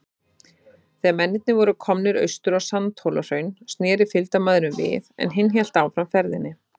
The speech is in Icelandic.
Þegar mennirnir voru komnir austur á Sandhólahraun, sneri fylgdarmaðurinn við, en hinn hélt áfram ferðinni.